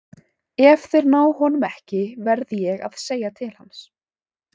Ef þeir ná honum ekki verð ég að segja til hans.